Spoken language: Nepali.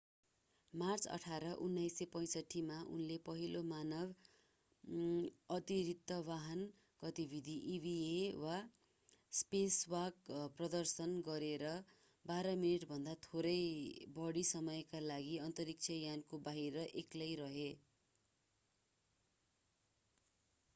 मार्च 18 1965 मा उनले पहिलो मानव अतिरिक्तवाहन गतिविधि eva वा स्पेसवाक” प्रदर्शन गरेर बाह्र मिनेटभन्दा थोरै बढी समयका लागि अन्तरिक्षयानको बाहिर एक्लै रहे।